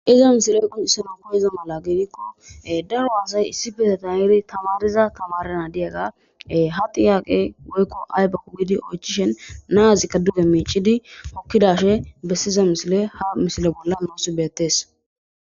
Iza misiley qoncisana kohiza mala geidikko daro haasay issi beeteta eri tamariza tamarana diyaga ha tiyaqe woykko aypeku gidi oychishen naazikka duge miichidi hokkidashe bessiza misile ha misile bolla nuusi beettees.